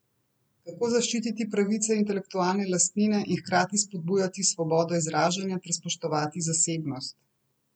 Kako zaščititi pravice intelektualne lastnine in hkrati spodbujati svobodo izražanja ter spoštovati zasebnost?